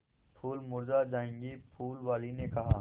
फूल मुरझा जायेंगे फूल वाली ने कहा